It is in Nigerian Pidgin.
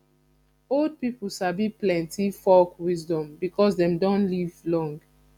old pipo sabi plenty folk wisdom because dem don live long